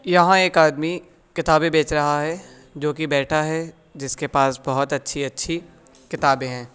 यहां एक आदमी किताबे बेच रहा है जोकि बैठा है जिसके पास बहुत अच्छी-अच्छी किताबे है।